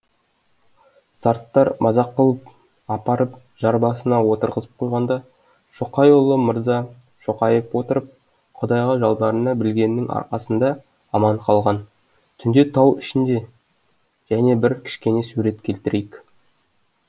сарттар мазақ қылып апарып жар басына отырғызып қойғанда шоқайұлы мырза шоқайып отырып құдайға жалбарына білгеннің арқасында аман қалған түнде тау ішінде және бір кішкене сурет келтірейік